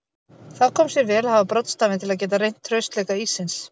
Þá kom sér vel að hafa broddstafinn til að geta reynt traustleika íssins.